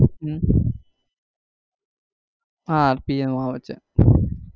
હમ હા rpm આવે છે.